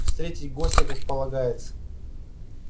встретить гостя как полагается